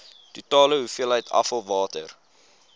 totale hoeveelheid afvalwater